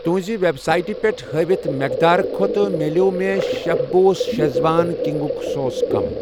تُُہنٛزِ web سایٹہٕ پٮ۪ٹھ ہٲیِتھ مٮ۪قدار کھۄتہٕ مِلٮ۪و مےٚ شٮ۪ف بوس شیٖزوان کُکِنٛگ سوس کم